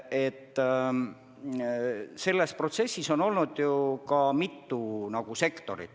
Selles protsessis on ju olnud mitu nn sektorit.